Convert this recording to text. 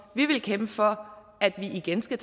vi vil kæmpe for at vi igen skal